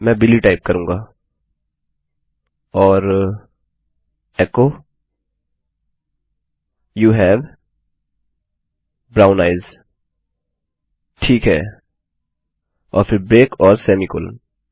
मैं Billy type करूँगा और echo you have brown eyes ठीक है और फिर ब्रेक और सेमीकोलन